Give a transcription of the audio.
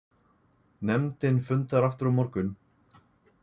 Nefndin fundar aftur á morgun